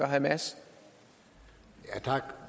hamas